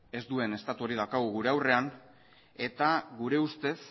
ez duen estatu hori daukagun gure aurrean eta gure ustez